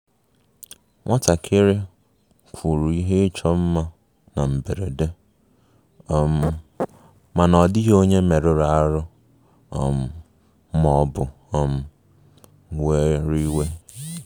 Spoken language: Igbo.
Nwatakịrị kụrụ ihe ịchọ mma na mberede, um ma ọ dịghị onye merụrụ ahụ um ma ọ bụ um were iwe